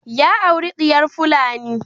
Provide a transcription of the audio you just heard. Ya auri diyar fulani.